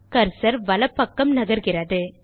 cursor வலப்பக்கம் நகர்கிறது